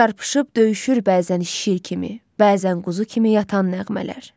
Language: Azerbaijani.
Çarpışıb döyüşür bəzən şiir kimi, bəzən quzu kimi yatan nəğmələr.